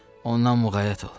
Ondan muğayat ol.